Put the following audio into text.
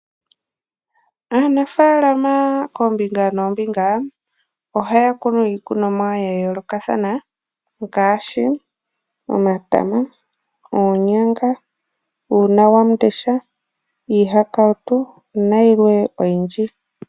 Aanafaalama koombinga noombinga ohaya kunu iikunonwa yayoolokathana ngaashi omatama, oonyanga, uunawandesha, iihakautu nayilwe oyindji.